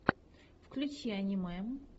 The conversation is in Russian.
включи аниме